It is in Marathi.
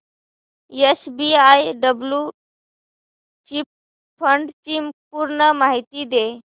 एसबीआय ब्ल्यु चिप फंड ची पूर्ण माहिती दे